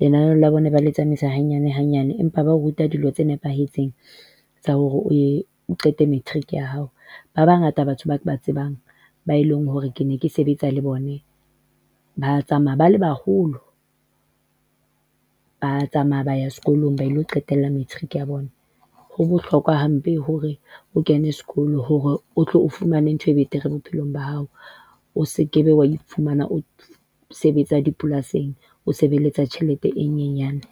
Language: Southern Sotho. lenaneo la bona ba le tsamaisa hanyane hanyane, empa ba ruta dilo tse nepahetseng tsa hore o ye o qete matric ya hao. Ba bangata batho bao ke ba tsebang bae leng hore ke ne ke sebetsa le bone ba tsamaya ba le baholo ba tsamaya ba ya sekolong ba ilo qetella matric ya bona. Ho bohlokwa hampe hore o kene sekolo hore o tlo o fumane ntho e betere bophelong ba hao. O sekebe wa iphumana o sebetsa dipolasing, o sebeletsa tjhelete e nyenyane.